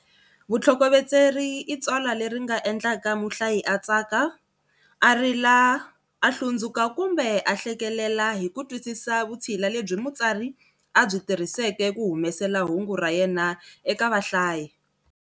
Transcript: Vutlhokovetseri i tsalwa leri nga endlaka muhlayi a tsaka, a rila a hlundzuka kumbe a hlekelela hi ku twisisa vutshila lebyi mutsari a byi tirhiseke ku humesela hungu ra yena eka vahlayi.